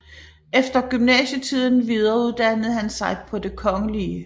Efter gymnasietiden videreuddannede han sig på Det Kgl